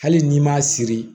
Hali n'i m'a siri